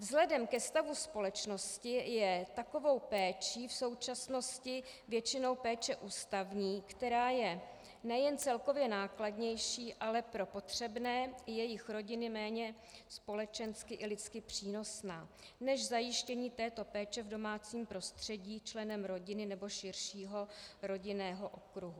Vzhledem ke stavu společnosti je takovou péčí v současnosti většinou péče ústavní, která je nejen celkově nákladnější, ale pro potřebné i jejich rodiny méně společensky i lidsky přínosná než zajištění této péče v domácím prostředí členem rodiny nebo širšího rodinného okruhu.